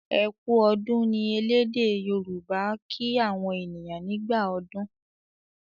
"e kú ọdún" ní ẹlẹdẹ yoruba' kín àwọn ènìyàn nígbà ọdún